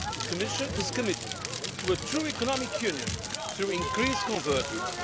The Commission is committed to a true economic Union through increased convergence.